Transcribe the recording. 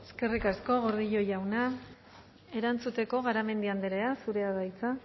eskerrik asko gordillo jauna erantzuteko garamendi andrea zurea da hitza